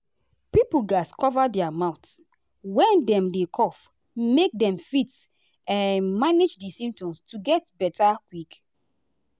pipo gatz cover their mouth when dem dey cough make dem fit um manage di symptoms to get beta quick.